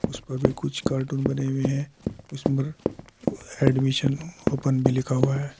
उस पर भी कुछ कार्टून बने हुए हैं उस पर एडमिशन ओपन भी लिखा हुआ है।